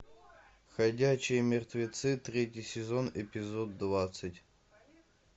ходячие мертвецы третий сезон эпизод двадцать